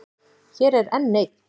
Hér er enn ein.